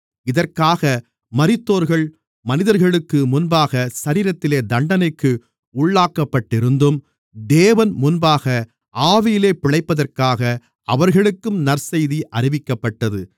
இதற்காக மரித்தோர்கள் மனிதர்களுக்கு முன்பாக சரீரத்திலே தண்டனைக்கு உள்ளாக்கப்பட்டிருந்தும் தேவன்முன்பாக ஆவியிலே பிழைப்பதற்காக அவர்களுக்கும் நற்செய்தி அறிவிக்கப்பட்டது